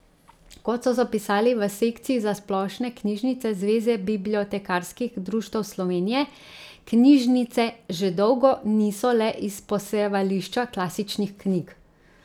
Kot so zapisali v sekciji za splošne knjižnice Zveze bibliotekarskih društev Slovenije, knjižnice že dolgo niso le izposojevališča klasičnih knjig.